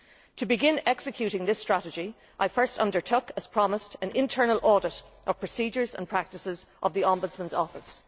To begin executing this strategy, I first undertook, as promised, an internal audit of the procedures and practices of the Ombudsman's Office.